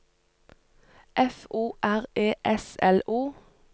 F O R E S L O